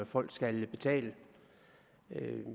folk skal betale